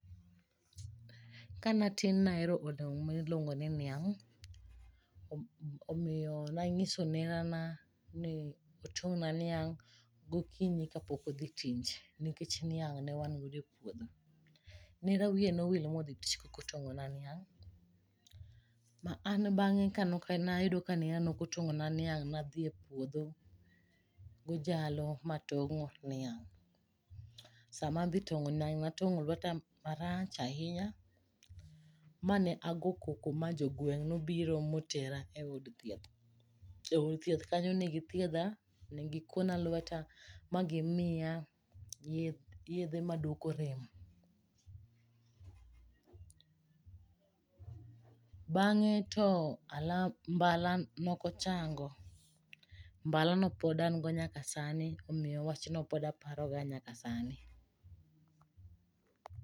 Kane atin ne ahero olemo miluongo ni niang', omiyo ne anyiso nerana ni otong' na niang' gokinyi kapok odhi tich nikech niang' ne wan godo e puodho. Nera wiye ne owil ma odhi tich kaok otong'ona niang'. Ne adhi epuodh gojalo ma atong'o niang'. Sama nadhi tong'o niang' ne atong'o lueta marach ahinya mane ago koko ma jogweng' nobiro motera eod thieth. Ne gikuona lueta magimiya yedhe maduoko rem. Bang'e to mbala ne ok ochango. Mbalano pod an go nyaka sani omiyo wachno pod aparoga nyaka sani.